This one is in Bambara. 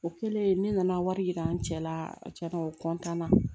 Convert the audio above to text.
O kɛlen ne nana wari yira n cɛ la a tiɲɛna o na